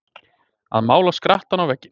Að mála skrattann á vegginn